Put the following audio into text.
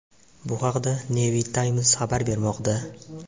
Bu haqda Navy Times xabar bermoqda .